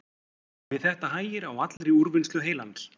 Við þetta hægir á allri úrvinnslu heilans.